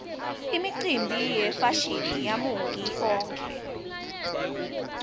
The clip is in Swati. imicimbi yefashini yamauiki onkhe